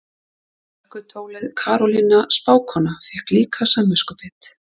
Hörkutólið Karólína spákona fékk líka samviskubit.